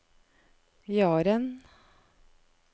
Jaren